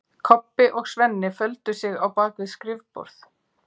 Kobbi og Svenni földu sig á bak við skrifborð.